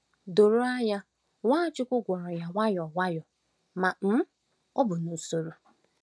Doro anya, Nwachukwu gwọrọ ya nwayọ nwayọ, ma um ọ bụ n’usoro.